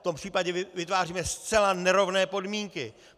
V tom případě vytváříme zcela nerovné podmínky!